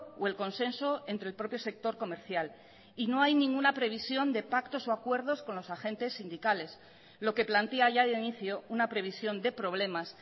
o el consenso entre el propio sector comercial y no hay ninguna previsión de pactos o acuerdos con los agentes sindicales lo que plantea ya de inicio una previsión de problemas